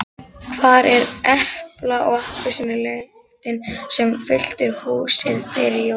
Hvar er epla- og appelsínulyktin sem fyllti húsið fyrir jólin?